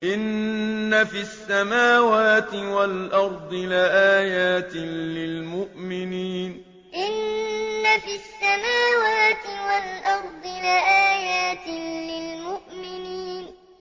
إِنَّ فِي السَّمَاوَاتِ وَالْأَرْضِ لَآيَاتٍ لِّلْمُؤْمِنِينَ إِنَّ فِي السَّمَاوَاتِ وَالْأَرْضِ لَآيَاتٍ لِّلْمُؤْمِنِينَ